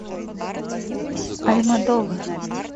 альмодовар